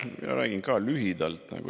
Ma räägin ka lühidalt.